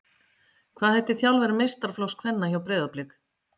Hvað heitir þjálfari meistaraflokks kvenna hjá Breiðablik?